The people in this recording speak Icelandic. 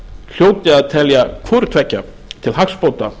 hljóti að telja hvoru tveggja til hagsbóta